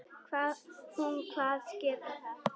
Hún kvaðst geta það.